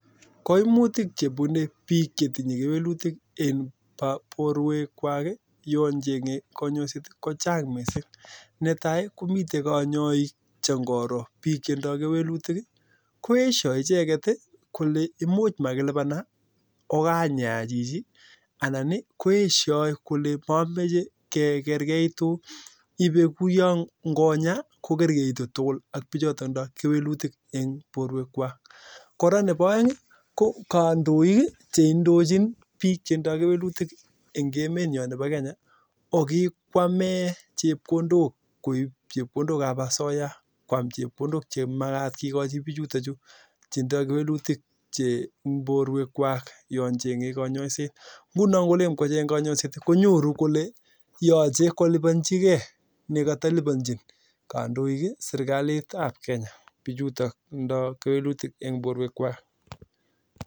Netai ii komitei konyoik che koroo biik chetindoi kewelutik koeshoi icheket kolee imuch makilipana okanyaa chichii anan koibee kouyoo kerkeutuu ak bichotok koraa neboo aeng kandoik ii cheindochin biik chetindoi kewelutik eng emet nyoo ko kikwamee chekondok ab bichutok cheboo asoyaa